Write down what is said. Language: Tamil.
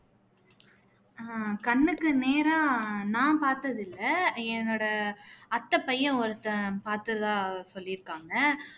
ஆஹ் கண்ணுக்கு நேரா நான் பாத்தது இல்ல என்னோட அத்தை பையன் ஒருத்தன் பாத்ததா சொல்லியிருக்காங்க